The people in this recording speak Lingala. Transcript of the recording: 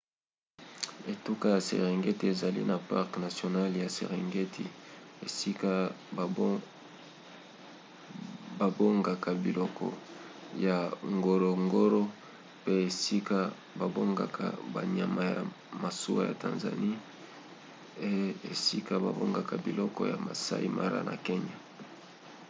etuka ya serengeti ezali na parke nationale ya serengeti esika babongaka biloko ya ngorongoro pe esika babombaka banyama ya masuwa na tanzanie et esika babombaka biloko ya maasai mara na kenya